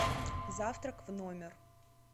завтрак в номер